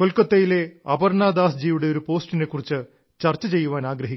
കൊൽക്കത്തയിലെ അപർണ്ണാ ദാസ്ജിയുടെ ഒരു പോസ്റ്റിനെ കുറിച്ച് ചർച്ച ചെയ്യുവാൻ ആഗ്രഹിക്കുന്നു